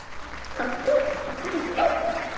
Santía, áttu tyggjó?